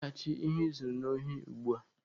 Weghachi ihe I zuru n'ohi ugbua!